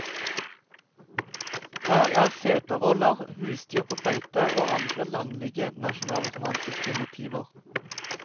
Her er setervoller, husdyr på beite og andre landlige nasjonalromantiske motiver.